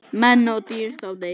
Menn og dýr þá deyja.